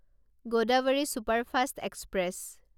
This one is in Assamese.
Godavari superfast express